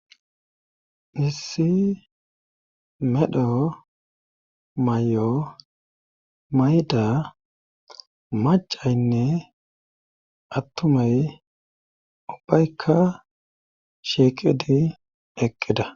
issi medho mayo mayda macaynne attumay ubbaykka sheeqidi eqqida